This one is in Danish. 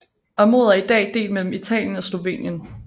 Området er i dag delt mellem Italien og Slovenien